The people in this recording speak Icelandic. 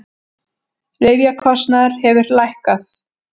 Lyfjakostnaður hefur lækkað